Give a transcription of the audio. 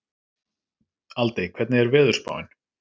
Aldey, hvernig er veðurspáin?